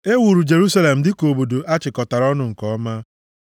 E wuru Jerusalem dịka obodo a chịkọtara ọnụ nke ọma.